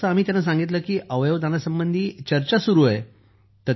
जसं आम्ही त्यांना सांगितलं की अवयव दानासंबंधी चर्चा सुरू आहे